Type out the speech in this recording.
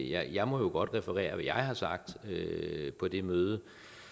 jeg må jo godt referere hvad jeg har sagt på det møde